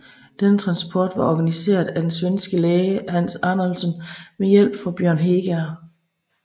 Denne transport var organiseret af den svenske læge Hans Arnoldsson med hjælp fra Bjørn Heger